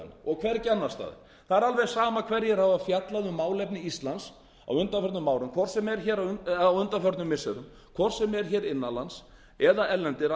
og hvergi annars staðar það er alveg sama hverjir hafa fjallað um málefni íslands á undanförnum missirum hvort sem er innan lands eða erlendir